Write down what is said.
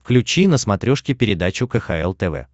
включи на смотрешке передачу кхл тв